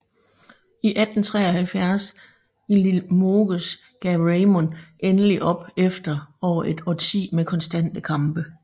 I 1173 i Limoges gav Raymond endelig op efter over et årti med konstante kampe